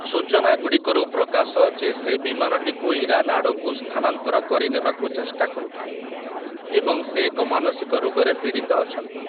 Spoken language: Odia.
ସୂଚନାଗୁଡ଼ିକରୁ ପ୍ରକାଶ ଯେ ସେ ବିମାନଟିକୁ ଇରାନ ଆଡ଼କୁ ସ୍ଥାନାନ୍ତର କରିନେବାକୁ ଚେଷ୍ଟା କରୁଥିଲେ ଏବଂ ସେ ଏକ ମାନସିକ ରୋଗରେ ପୀଡ଼ିତ ଅଛନ୍ତି ।